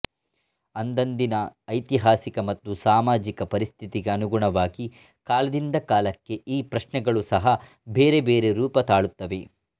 ಅಂದಂದಿನ ಐತಿಹಾಸಿಕ ಮತ್ತು ಸಾಮಾಜಿಕ ಪರಿಸ್ಥಿತಿಗೆ ಅನುಗುಣವಾಗಿ ಕಾಲದಿಂದ ಕಾಲಕ್ಕೆ ಈ ಪ್ರಶ್ನೆಗಳು ಸಹ ಬೇರೆಬೇರೆ ರೂಪ ತಾಳುತ್ತವೆ